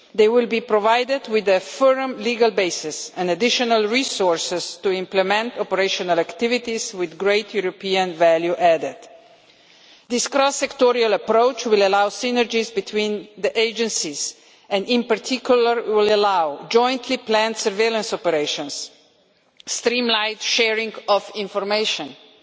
They will be provided with a firm legal basis and additional resources to implement operational activities with great European value added. This cross sectoral approach will allow synergies between the agencies, and in particular it will allow jointly planned surveillance operations, streamlined sharing of information and